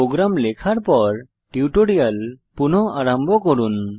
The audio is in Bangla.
প্রোগ্রাম লেখার পর টিউটোরিয়াল পুনঃ আরম্ভ করুন